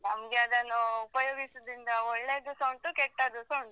ನಮ್ಗೆಅದನ್ನು ಉಪಯೋಗಿಸುದಿಂದ ಒಳ್ಳೇದೂಸ ಉಂಟು ಕೆಟ್ಟದೂಸ ಉಂಟು.